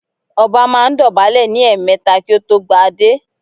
Ọba máa ń dọ̀bálẹ̀ ní ẹ̀ẹmẹ̀ta kí ó tó gba adé